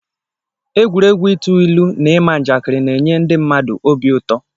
Egwuregwu ịtụ ilu na ịma njakịrị na-enye ndị mmadụ obi ụtọ.